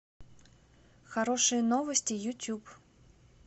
хорошие новости ютюб